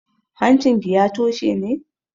Hancinki ya toshe ne?